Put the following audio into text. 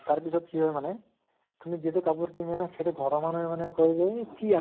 তাৰ পিছত কি হয় মানে , তুমি যিটো কাপোৰ কিনি আনা সেইটো ঘৰ ৰ মানুহে মানে কয় যে, হেই কি